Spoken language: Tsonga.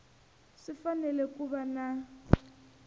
swi fanele ku va na